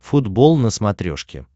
футбол на смотрешке